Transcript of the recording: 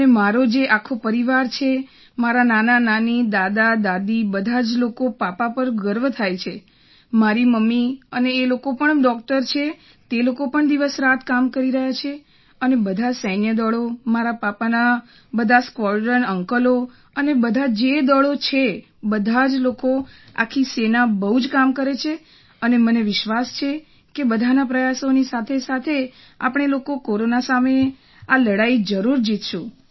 અને મારો જે આખો પરિવાર છે મારાં નાનાનાની દાદી બધાં જ લોકોને પાપા પર ગર્વ થાય છે મારી મમ્મી અને એ લોકો પણ ડૉક્ટર છે તે લોકો પણ દિવસરાત કામ કરી રહ્યા છે અને બધાં સૈન્ય દળો મારા પાપાના બધા સ્કવૉડ્રનના અંકલો અને બધાં જે દળો છે બધા લોકો આખી સેના બહુ કામ કરે છે અને મને વિશ્વાસ છે કે બધાના પ્રયાસોની સાથે આપણે લોકો કોરોના સામે આ લડાઈ જરૂર જીતશું